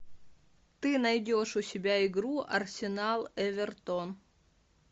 ты найдешь у себя игру арсенал эвертон